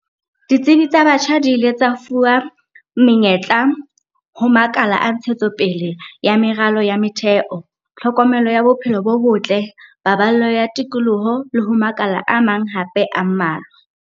Ditsebi tsa batjha di ile tsa fuwa menyetla ho makala a ntshetsopele ya meralo ya metheo, tlhokomelo ya bophelo bo botle, paballo ya tikoloho le ho makala a mang hape a mmalwa.